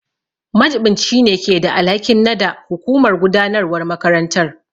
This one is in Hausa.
Majiɓinci ne keda alhakin nada hukumar gudanarwar makarantar.